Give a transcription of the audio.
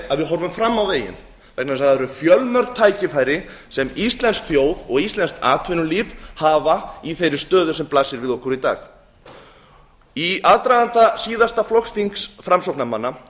að við horfum fram á veginn vegna þess að það eru fjölmörg tækifæri sem íslensk þjóð og íslenskt atvinnulíf hafa í þeirri stöðu sem blasir við okkur í dag í aðdraganda síðasta flokksþings framsóknarmanna